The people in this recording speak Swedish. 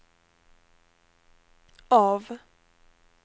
av